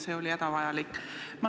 See oli hädavajalik.